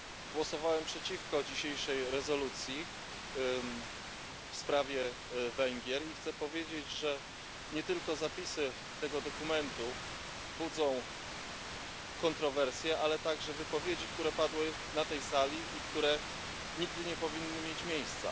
Głosowałem przeciwko dzisiejszej rezolucji w sprawie Węgier i chcę powiedzieć, że nie tylko zapisy tego dokumentu budzą kontrowersje, ale także wypowiedzi, które padły na tej Sali i które nigdy nie powinny mieć miejsca.